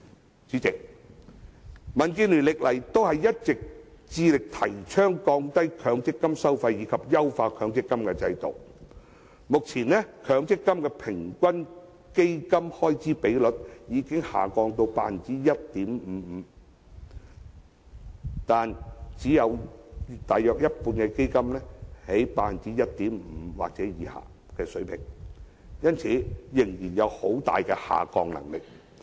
代理主席，民建聯多年來一直致力提倡降低強積金收費及優化強積金制度，目前強積金的平均基金開支比率已下降至 1.55%， 但只有約一半基金的開支比率是在 1.5% 或以下水平，因此仍然有很大的下降空間。